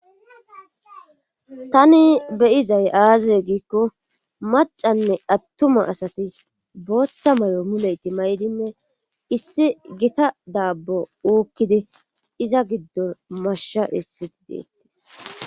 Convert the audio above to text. Tani beyizay aazize giikko macanne attuma asati booththa mayo muleyti may'dinne issi gita daabbo uukkidi iza giddon mashsha hissi deettis.